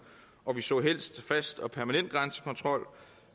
og vi så helst en fast og permanent grænsekontrol